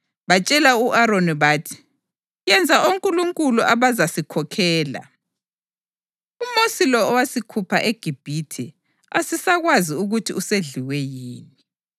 Batshela u-Aroni bathi, ‘Yenza onkulunkulu abazasikhokhela. UMosi lo owasikhupha eGibhithe asisakwazi ukuthi usedliwe yini!’ + 7.40 U-Eksodasi 32.1